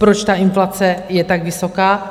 Proč ta inflace je tak vysoká?